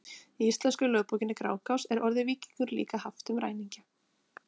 Í íslensku lögbókinni Grágás er orðið víkingur líka haft um ræningja.